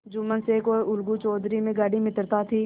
जुम्मन शेख और अलगू चौधरी में गाढ़ी मित्रता थी